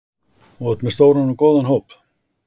Þú ert með stóran og góðan hóp?